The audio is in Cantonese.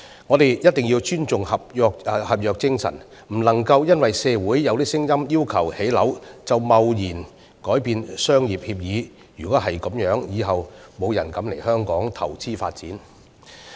我們一定要尊重合約精神，不能因社會有聲音要求建屋便貿然改變商業協議。若然如此，日後再沒有人敢來港投資發展。